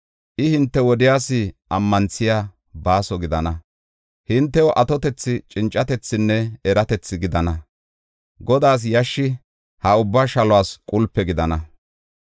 I hinte wodiyas ammanthiya baaso gidana; hintew atotethi, cincatethinne eratethi gidana; Godaas yashshi ha ubba shaluwas qulpe gidana.